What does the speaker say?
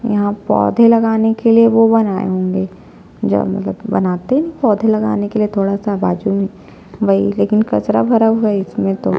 यहाँ पौधे लगाने के लिए वो बनाये होंगे ज मतलब की बनाते नि पौधे लगाने के लिए थोड़ा सा बाजू में वही लेकिन कचरा भरा हुआ है इसमें तो--